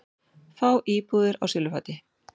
Fá íbúðir á silfurfati